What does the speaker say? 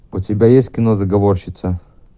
у тебя есть кино заговорщица